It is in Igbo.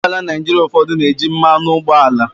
Ụgbọ ala Naịjirịa ụfọdụ na-eji mmanụ ụgbọala.